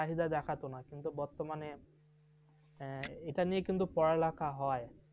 চাহিদা দেখাত না, কিন্তু বর্তমানে এটা নিয়ে কিন্তু পড়ালেখা হয়।